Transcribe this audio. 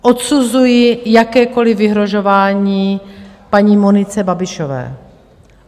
Odsuzuji jakékoliv vyhrožování paní Monice Babišové.